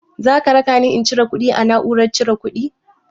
Zaka rakani in cire kuɗi a na'urar cire kuɗi?